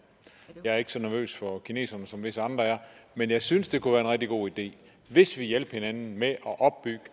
jeg er ikke så nervøs for kineserne som visse andre er men jeg synes at det kunne være en rigtig god idé hvis vi hjalp hinanden med at opbygge